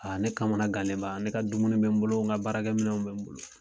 ne kamana gannenba ne ka dumuni bɛ n bolo n ka baarakɛminɛw bɛ n bolo.